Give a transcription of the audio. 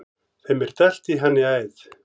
Þeim er dælt í hann í æð.